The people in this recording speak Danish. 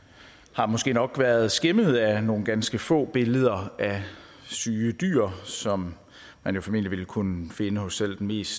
har måske nok været skæmmet af nogle ganske få billeder af syge dyr som man formentlig ville kunne finde hos selv den mest